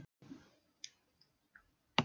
Mikið þætti mér vænt um það, Arnar minn!